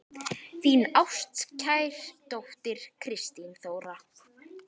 Þín ástkær dóttir, Kristín Þóra.